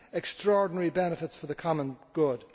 extraordinary benefits for the common good.